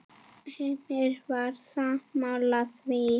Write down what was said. Heimir Már: Sammála því?